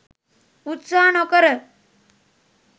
උත්සාහ නොකර.